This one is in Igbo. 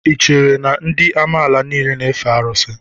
Ị chere na ndị amala niile na-efe arụsị?